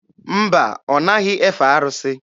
Mba, ọ naghị efe arụsị.